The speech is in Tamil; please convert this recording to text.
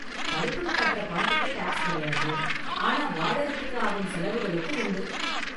படிப்புக்கு கட்டுற பணத்துக்கு டாக்ஸ் கிடையாது, ஆனா வாழறதுக்கு ஆகும் செலவுகளுக்கு உண்டு.